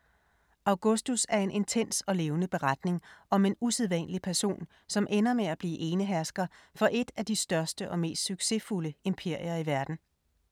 Augustus er en intens og levende beretning om en usædvanlig person, som ender med at blive enehersker for et af de største og mest succesfulde imperier i verden.